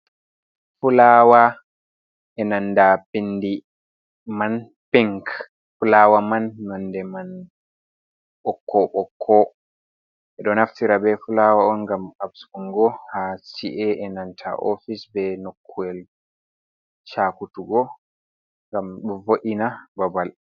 Fulawa e nanda pindi man pink, fulawa man nonde man nonde man ɓokko-ɓokko, ɓe ɗo naftira be fulawa un ngam asbungo ha ce'ie nanta ofis ɓe nokuwel chakutugo ngam ɗo vo’ina babal.